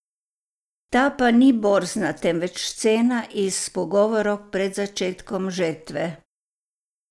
Ta pa ni borzna, temveč cena iz pogovorov pred začetkom žetve.